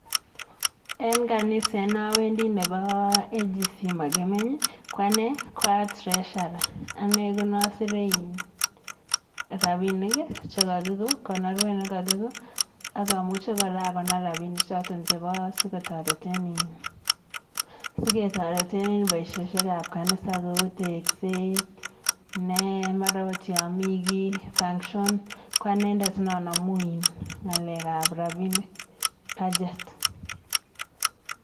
En kanisa ne awendi nebo AGC Makimeny ko ane ko aa treasurer ane ko ne asere in rabinik che kakiko konorwe ne kakiko akamuche kora akonor rabinichoto chebo sikutoreten in, siketoreten en boishoshekab kanisa cheu tekset, ne mara oot yami kii function ko anendet ne anamu in ng'alekab rabinik budget.